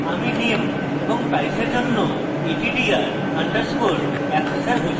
আমি name এবং price এর জন্য attr _ accessor ঘোষিত করেছি